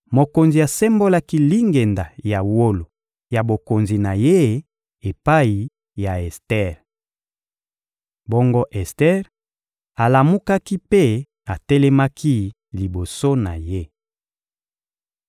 Mokonzi asembolaki lingenda ya wolo ya bokonzi na ye epai ya Ester. Bongo Ester alamukaki mpe atelemaki liboso na ye.